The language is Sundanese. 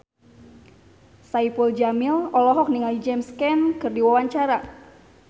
Saipul Jamil olohok ningali James Caan keur diwawancara